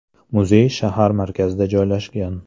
Muzey shahar markazida joylashgan.